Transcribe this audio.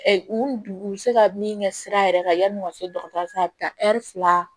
U u bɛ se ka min kɛ sira yɛrɛ kan yanni u ka se dɔgɔtɔrɔso la a bɛ taa ɛri fila